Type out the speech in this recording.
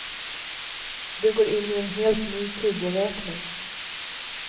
Du går in i en helt ny tideräkning.